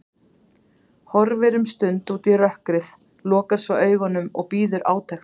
Horfir um stund út í rökkrið, lokar svo augunum og bíður átekta.